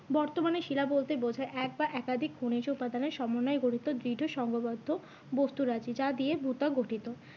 বর্তমানে শিলা বলতে বোঝায় এক বা একাধিক খনিজ উপাদানের সমন্বয়ে গঠিত দৃঢ় সঙ্গবদ্ধ বস্তু যা দিয়ে ভূত্বক গঠিত।